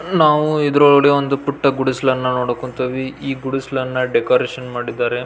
ನಾವು ಇದ್ರ್ ಒಲ್ಗಡೆ ಒಂದು ಪುಟ್ಟ ಗುಡಿಸ್ಲನ್ನ ನೋದಕುತೀವಿ ಈ ಗುಡುಸ್ಲಾನ್ನ ಡೆಕೋರೇಷನ್ ಮಾಡಿದ್ದಾರೆ.